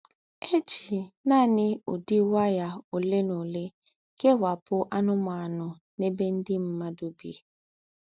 È jí nání údí waya ólé ná ólé kèwápù ànùmànù n’èbé ndí́ m̀mùàdù bí.